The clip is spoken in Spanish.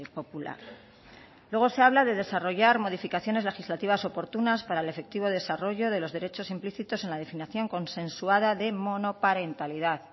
popular luego se habla de desarrollar modificaciones legislativas oportunas para el efectivo desarrollo de los derechos implícitos en la definición consensuada de monoparentalidad